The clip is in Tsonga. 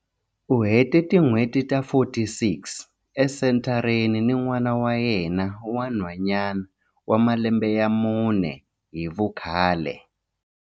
U hete tin'hweti ta 46 esenthareni ni n'wana wa yena wa nhwanyana wa malembe ya mune hi vukhale.